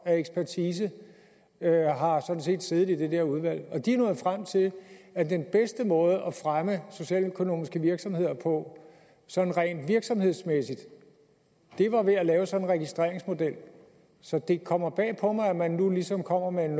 af ekspertise har sådan set siddet i det der udvalg og de er nået frem til at den bedste måde at fremme socialøkonomiske virksomheder på sådan rent virksomhedsmæssigt var ved at lave sådan en registreringsmodel så det kommer bag på mig at man nu ligesom kommer med en